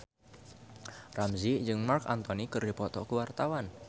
Ramzy jeung Marc Anthony keur dipoto ku wartawan